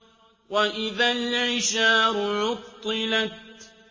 وَإِذَا الْعِشَارُ عُطِّلَتْ